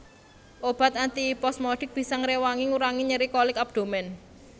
Obat antiposmodik bisa ngréwangi ngurangi nyeri kolik abdomen